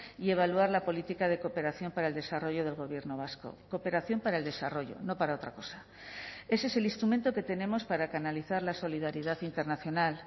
y evaluar la política de cooperación para el desarrollo del gobierno vasco cooperación para el desarrollo no para otra cosa ese es el instrumento que tenemos para canalizar la solidaridad internacional